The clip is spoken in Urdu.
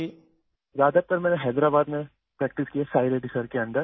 میں نے زیادہ تر حیدرآباد میں پریکٹس کی ہے، سائی ریڈی سر کے ماتحت